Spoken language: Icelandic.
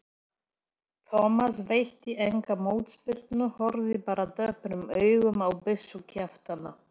Thomas veitti enga mótspyrnu, horfði bara döprum augum á byssukjaftana.